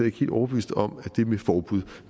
ikke helt overbeviste om det med forbud